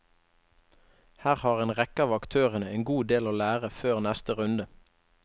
Her har en rekke av aktørene en god del å lære før neste runde.